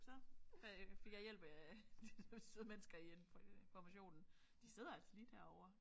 Så fik jeg hjælp af de der søde mennesker i informationen de sidder altså lige derovre